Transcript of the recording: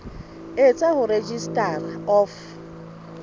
e tswang ho registrar of